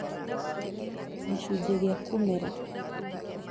Gĩcunjĩ gĩa kũmera